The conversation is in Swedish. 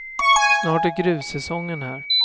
Snart är grussäsongen här.